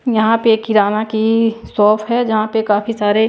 यहां पे किराना की शॉप है जहां पे काफी सारे--